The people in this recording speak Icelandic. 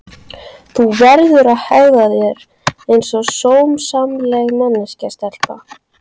Þú verður að hegða þér einsog sómasamleg manneskja stelpa.